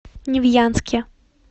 невьянске